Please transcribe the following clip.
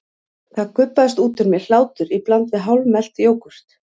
Þá gubbast út úr mér hlátur í bland við hálfmelt jógúrt.